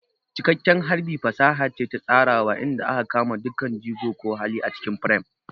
Cikakken harbi fasaha ce ta tsarawa inda aka kama dukkan jigo ko hali a cikin firam.